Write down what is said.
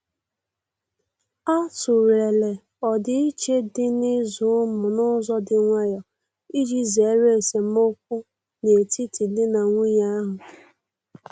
A tụ̀lere ọdiiche dị n'ịzụ ụmụ n'ụzọ dị nwayò iji zere esemokwu n'etiti di na nwunye ahu.